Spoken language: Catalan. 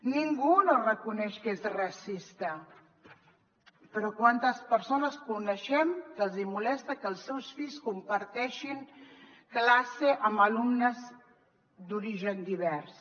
ningú no reconeix que és racista però quantes persones coneixem què els molesta que els seus fills comparteixin classe amb alumnes d’origen divers